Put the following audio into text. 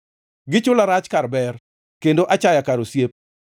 Gichula rach kar ber, kod achaya kar osiep.